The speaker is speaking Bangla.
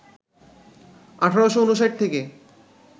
১৮৫৯ থেকে